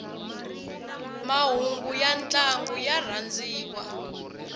mahhungu yantlangu yarhandziwa